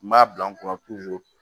N b'a bila n kunna